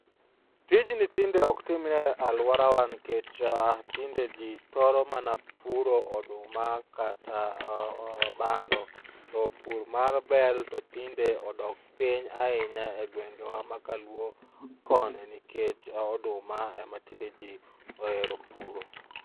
Tijni tinde ok timre e aluorawa nikech tinde jiin thoro mana puro oduma kata bando to pur mar bel to tinde odok piny ahinya e gwenge wa ma kaluo koni nikech oduma ema tinde jii ohero puro